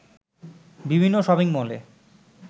বিভিন্ন শপিংমলে